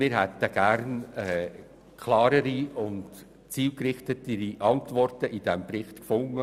Wir hätten gerne klarere und zielgerichtetere Antworten in diesem Bericht gefunden.